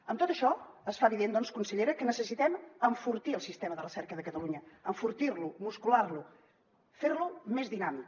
amb tot això es fa evident doncs consellera que necessitem enfortir el sistema de recerca de catalunya enfortir lo muscular lo fer lo més dinàmic